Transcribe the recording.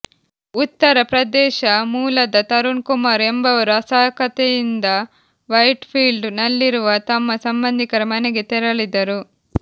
ಉತ್ತರ ಪ್ರದೇಶ ಮೂಲದ ತರುಣ್ ಕುಮಾರ್ ಎಂಬುವರು ಅಸಹಾಕತೆಯಿಂದ ವೈಟ್ ಫೀಲ್ಡ್ ನಲ್ಲಿರುವ ತಮ್ಮ ಸಂಬಂಧಿಕರ ಮನೆಗೆ ತೆರಳಿದರು